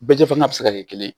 Bɛɛ fana bɛ se ka kɛ kelen ye